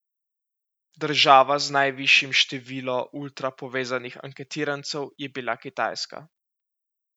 Država z najvišjim število ultra povezanih anketirancev je bila Kitajska.